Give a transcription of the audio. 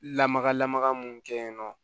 Lamaga lamaga mun kɛyinɔ